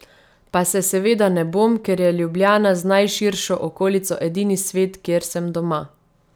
Pa se seveda ne bom, ker je Ljubljana z najširšo okolico edini svet, kjer sem doma.